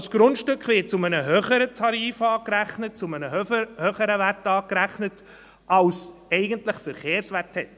Das Grundstück wird zu einem höheren Tarif angerechnet, zu einem höheren Wert angerechnet, als eigentlich der Verkehrswert ist.